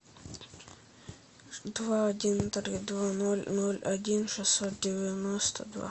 два один три два ноль ноль один шестьсот девяносто два